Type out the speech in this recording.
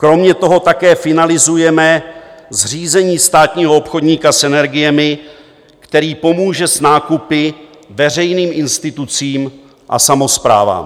Kromě toho také finalizujeme zřízení státního obchodníka s energiemi, který pomůže s nákupy veřejným institucím a samosprávám.